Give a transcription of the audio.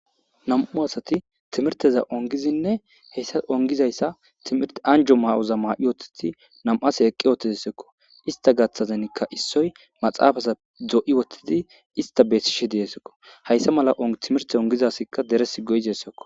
Nam7u asathi thimirththe za7uwan gizinne hesa onggizayssa thimirththe anjjo myo maa7i woththidi nam7a asay eqqi woththedasekko; isththa gaththazanikka issoy maxaafatha doo7i woththidi isththa besishe de7eesikko; hayse mala thimirththe onggida asikka deressi goyizeessakko.